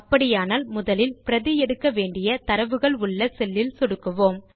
அப்படியானால் முதலில் பிரதி எடுக்க வேண்டிய தரவுகளுள்ள செல்லில் சொடுக்குவோம்